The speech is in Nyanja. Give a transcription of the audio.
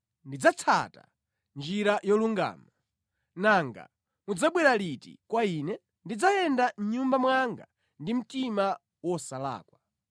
Ndidzatsata njira yolungama; nanga mudzabwera liti kwa ine? Ndidzayenda mʼnyumba mwanga ndi mtima wosalakwa.